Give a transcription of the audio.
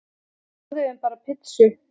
Við borðuðum bara pizzu.